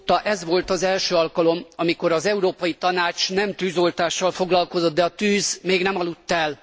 Két év óta ez volt az első alkalom, amikor az Európai Tanács nem tűzoltással foglalkozott, de a tűz még nem aludt el.